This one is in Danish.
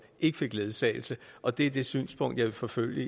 ikke fik ledsagelse og det er det synspunkt jeg vil forfølge